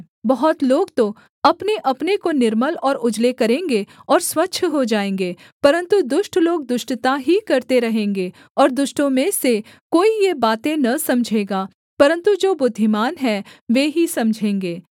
बहुत लोग तो अपनेअपने को निर्मल और उजले करेंगे और स्वच्छ हो जाएँगे परन्तु दुष्ट लोग दुष्टता ही करते रहेंगे और दुष्टों में से कोई ये बातें न समझेगा परन्तु जो बुद्धिमान है वे ही समझेंगे